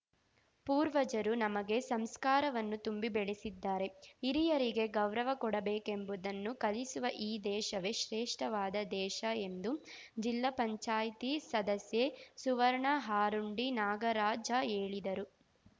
ಪೂರ್ವಜರು ನಮಗೆ ಸಂಸ್ಕಾರವನ್ನು ತುಂಬಿ ಬೆಳೆಸಿದ್ದಾರೆ ಹಿರಿಯರಿಗೆ ಗೌರವ ಕೊಡಬೇಕೆಂಬುದನ್ನು ಕಲಿಸುವ ಈ ದೇಶವೇ ಶ್ರೇಷ್ಠವಾದ ದೇಶ ಎಂದು ಜಿಲ್ಲಾ ಪಂಚಾಯ್ತಿ ಸದಸ್ಯೆ ಸುವರ್ಣ ಆರುಂಡಿ ನಾಗರಾಜ ಹೇಳಿದರು